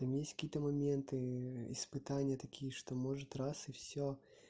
там есть какие-то моменты испытания такие что может раз и всё